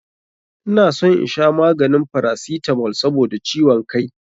Ina son in sha maganin paracetamol sabida ciwon kai na.